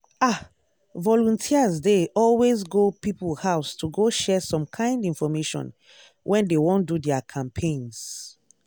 ah! volunteers dey always go people house to go share some kind infomation when dey wan do their campaigns.